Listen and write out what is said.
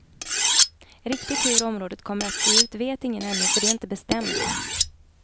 Riktigt hur området kommer att se ut vet ingen ännu, för det är inte bestämt.